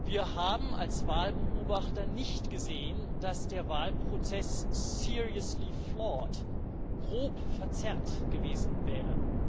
Wir haben als Wahlbeobachter nicht gesehen, dass der Wahlprozess grob verzerrt gewesen wäre.